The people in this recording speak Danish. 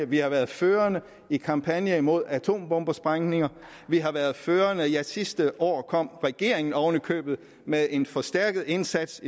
vi har været førende i kampagner imod atombombesprængninger vi har været førende i og sidste år kom regeringen oven i købet med en forstærket indsats